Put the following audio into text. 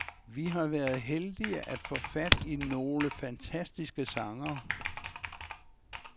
Vi har været heldige at få fat i nogle fantastiske sangere.